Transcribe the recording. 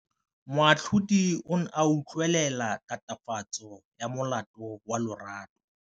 Moatlhodi o ne a utlwelela tatofatsô ya molato wa Lerato.